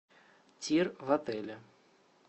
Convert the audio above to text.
тир в отеле